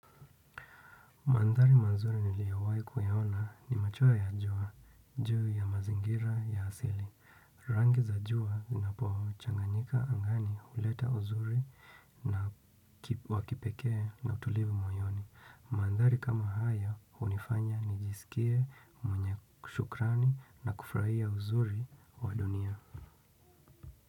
Mandhari mazuri niliyowahi kuyaona ni machoa ya jua juu ya mazingira ya asili. Rangi za jua zinapochanganyika angani huleta uzuri na wakipekee na utulivu moyoni. Mandhari kama haya hunifanya nijisikie mwenye shukrani na kufrahia uzuri wa dunia.